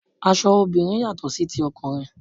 Aṣọ obìnrin yàtò sí ti ọkùnrin.